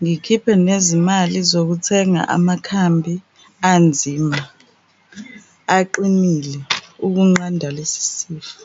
Ngikhiphe nezimali zokuthenga amakhambi anzima aqinile ukunqanda lesi sifo.